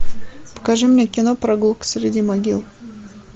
покажи мне кино прогулка среди могил